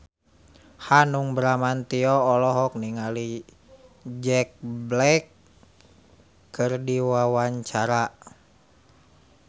Hanung Bramantyo olohok ningali Jack Black keur diwawancara